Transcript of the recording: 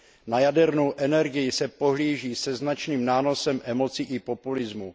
Na jadernou energii se pohlíží se značným nánosem emocí i populismu.